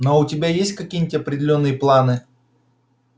но у тебя есть какие-нибудь определённые планы